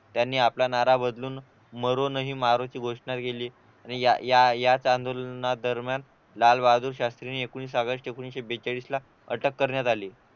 त्यांनी आपला नारा बदलून मरो नही मारोची घोषणा केली या आंदोलना दरम्यान लालबहादूर शास्त्रीना एकूण एकोणवीस ऑगस्ट एकोणीशे बेचाळीस ला अटक करण्यात आली